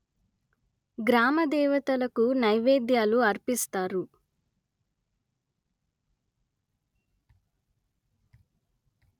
గ్రామ దేవతలకు నైవేద్యాలు అర్పిస్తారు